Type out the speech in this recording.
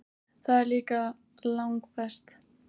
Það er líka langbest.